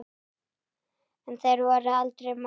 En þeir voru aldrei margir.